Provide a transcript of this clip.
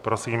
Prosím.